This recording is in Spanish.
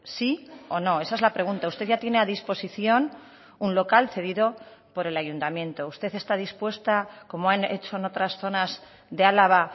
sí o no esa es la pregunta usted ya tiene a disposición un local cedido por el ayuntamiento usted está dispuesta como han hecho en otras zonas de álava